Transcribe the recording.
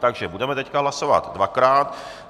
Takže budeme teď hlasovat dvakrát.